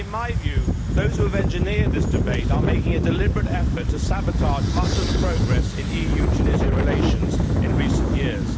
In my view, those who have engineered this debate are making a deliberate effort to sabotage much of the progress in EU Tunisia relations in recent years.